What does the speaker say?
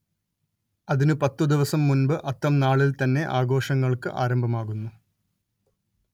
അതിനു പത്തു ദിവസം മുൻപ് അത്തം നാളിൽ തന്നെ ആഘോഷങ്ങൾക്ക് ആരംഭമാകുന്നു